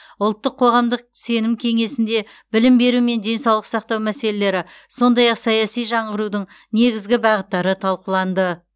ұлттық қоғамдық сенім кеңесінде білім беру және денсаулық сақтау мәселелері сондай ақ саяси жаңғырудың негізгі бағыттары талқыланды